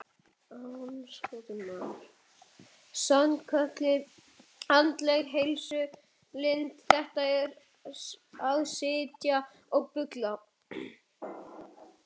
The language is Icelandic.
Sannkölluð andleg heilsulind, þetta að sitja og bulla.